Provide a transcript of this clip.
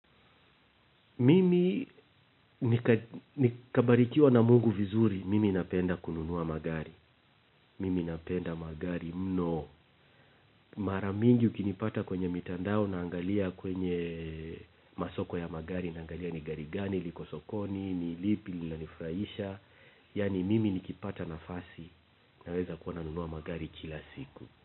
Mimi nikabarikiwa na Mungu vizuri mimi napenda kununua magari. Mimi napenda magari mno. Mara mingi ukinipata kwenye mitandao naangalia kwenye masoko ya magari naangalia ni gari gani, liko sokoni, ni lipi, linanifurahisha. Yaani mimi nikipata nafasi naweza kuwa nanunua magari kila siku.